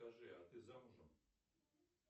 скажи а ты замужем